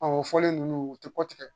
o fɔlen ninnu u tɛ kɔ tigɛ